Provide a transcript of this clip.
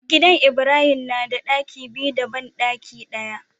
Gidan ibrahim nada ɗaki biyu da banɗaki daya